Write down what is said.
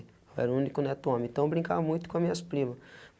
Eu era o único neto homem, então eu brincava muito com minhas primas.